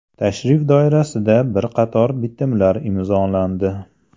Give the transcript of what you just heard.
Tashrif doirasida bir qator bitimlar imzolandi.